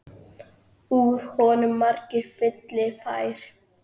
Úr honum margur fylli fær.